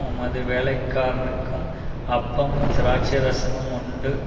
உமது வேலைக்காரனுக்கும் அப்பமும் திராட்ச ரசமும் உண்டு